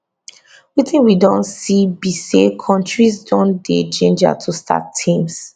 wetin we don see be say kontris don dey gingered to start teams